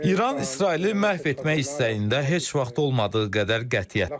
İran İsraili məhv etmək istəyində heç vaxt olmadığı qədər qətiyyətlidir.